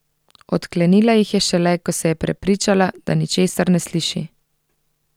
Odklenila jih je šele, ko se je prepričala, da ničesar ne sliši.